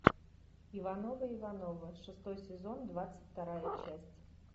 ивановы ивановы шестой сезон двадцать вторая часть